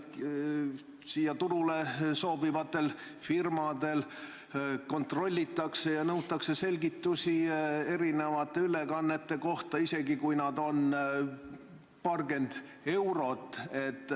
Meie turule soovivatel firmadel kontrollitakse kõike ja nõutakse selgitusi erinevate ülekannete kohta, isegi kui need on paarkümmend eurot.